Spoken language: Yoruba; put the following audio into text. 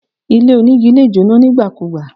Ilé onígi lè jóná nígbàkugbà